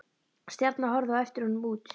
Stjarna horfði á eftir honum út.